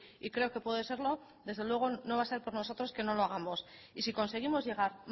y creo que puede serlo desde luego no va a ser por nosotros que no lo hagamos y si conseguimos llegar